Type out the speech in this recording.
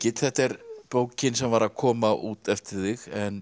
þetta er bókin sem var að koma út eftir þig